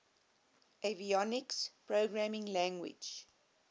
avionics programming language